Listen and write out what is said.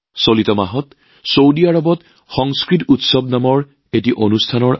চলিত মাহত ছৌদি আৰৱত সংস্কৃত উৎসৱ নামৰ এক অনুষ্ঠান অনুষ্ঠিত হয়